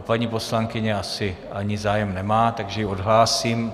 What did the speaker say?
A paní poslankyně asi ani zájem nemá, takže ji odhlásím.